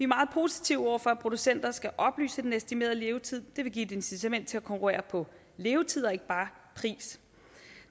meget positive over for at producenter skal oplyse den estimerede levetid det vil give et incitament til at konkurrere på levetid og ikke bare pris